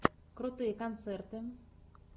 крутые концерты